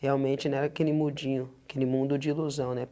Realmente não era aquele mundinho, aquele mundo de ilusão, né?